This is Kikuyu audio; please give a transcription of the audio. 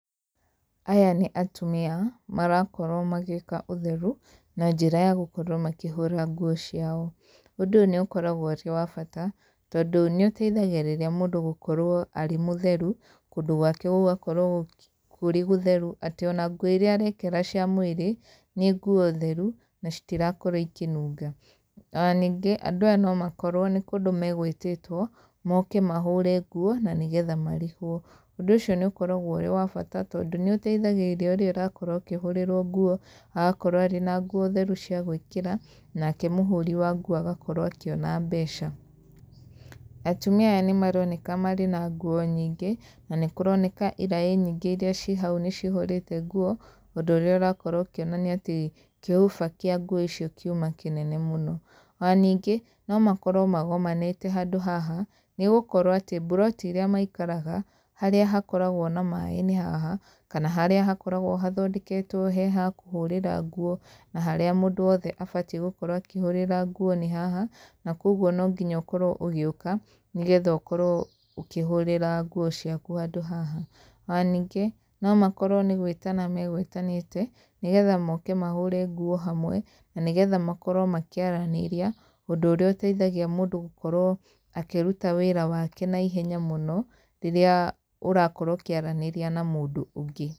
Aya nĩ atumia marakorwo magĩka ũtheru, na njĩra ya gũkorwo makĩhũra nguo ciao, ũndũ ũyũ nĩ ũkoragwo ũrĩ wa bata, tondũ nĩ ũteithagĩrĩria mũndũ gũkorwo arĩ mũtheru, kũndũ gwake gũgakorwo kũrĩ gũtheru atĩ ona nguo iria arekĩra cia mwĩrĩ, nĩ nguo theru, na citirakorwo ikĩnunga. Ona ningĩ andũ aya no makorwo nĩ kũndũ magwĩtĩtwo moke mahũre nguo na nĩgetha marĩhwo. Ũndũ ũcio nĩ ũkoragwo ũrĩ wa bata tondũ nĩ ũteithagĩrĩria ũrĩa ũrakorwo ũkĩhũrĩrwo nguo agakorwo arĩ na nguo theru cia gwĩkĩra, nake mũhũri wa nguo agakorwo akĩona mbeca. Atumia aya nĩ maroneka marĩ na nguo nyingĩ, na nĩ kũroneka iraĩ nyingĩ iria ciĩ hau nĩ cihũrĩte nguo, ũndũ ũrĩa ũrakorwo ũkĩonania atĩ kĩhũba kĩa nguo icio kiuma kĩnene mũno. Ona ningĩ no makorwo magomanĩte handũ haha, nĩ gũkorwo atĩ mburoti iria maikaraga, harĩa hakoragwo na maĩ nĩ haha kana harĩa hakoragwo hathondeketwo ha kũhũrĩra nguo na harĩa mũndũ wothe abatie gũkorwo akĩhũrĩra nguo nĩ haha, na koguo no nginya ũkorwo ũgĩũka, nĩgetha ũkorwo ũkĩhũrĩra nguo ciaku handũ haha. Ona ningĩ no makorwo nĩ gwĩtana megwĩtanĩte, nĩgetha moke mahũre nguo hamwe, na nĩgetha makorwo makĩaranĩria, ũndũ ũrĩa ũteithagia mũndũ gũkorwo, akĩruta wĩra wake naihenya mũno, rĩrĩa ũrakorwo ũkĩaranĩria na mũndũ ũngĩ.